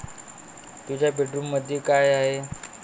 तुझ्या बेडरूममध्ये काय आहे?